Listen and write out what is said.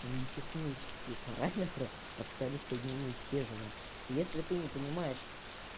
технические параметры остались одними тежеми если ты не понимаешь